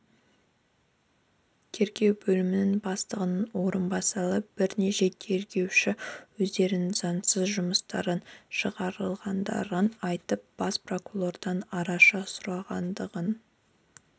тергеу бөлімі бастығының орынбасары бірнеше тергеуші өздерінің заңсыз жұмыстан шығарылғандығын айтып бас прокуратурадан араша сұрағандығын